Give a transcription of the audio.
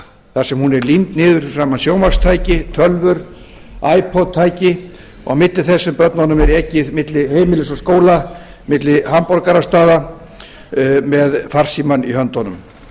þar sem hún er límd niður fyrir framan sjónvarpstæki tölvur ipod tæki á milli þess að börnunum er ekið milli heimilis og skóla milli hamborgarastaða með farsímann í höndunum